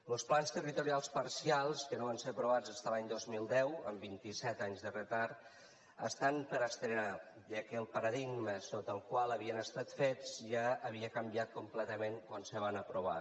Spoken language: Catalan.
los plans territorials parcials que no van ser aprovats fins l’any dos mil deu amb vint i set anys de retard estan per estrenar ja que el paradigma sota el qual havien estat fets ja havia canviat completament quan se van aprovar